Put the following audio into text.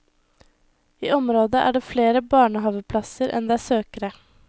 I området er det flere barnehaveplasser enn det er søkere.